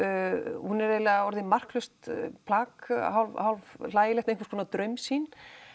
hún er eiginlega orðin marklaust plagg hálfhlægileg einhvers konar draumsýn